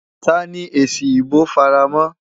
Ta ni èsì ìbò fara mọ́?